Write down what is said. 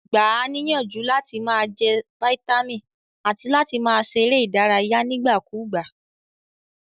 Gba a níyànjú làti ma je vitamin àti láti ma se eré ìdárayé nígbà kúgbà